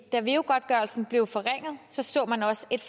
da veu godtgørelsen blev forringet så så man også et